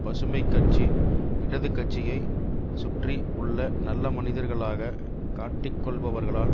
பசுமை கட்சி இடது கட்சியை சுற்றி உள்ள நல்ல மனிதர்களாக காட்டிக்கொள்பவர்களால்